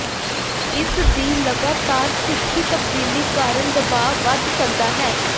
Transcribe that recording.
ਇਸਦੀ ਲਗਾਤਾਰ ਤਿੱਖੀ ਤਬਦੀਲੀ ਕਾਰਨ ਦਬਾਅ ਵਧ ਸਕਦਾ ਹੈ